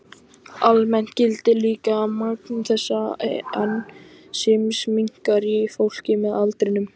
Almennt gildir líka að magn þessa ensíms minnkar í fólki með aldrinum.